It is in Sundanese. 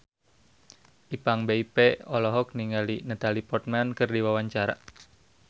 Ipank BIP olohok ningali Natalie Portman keur diwawancara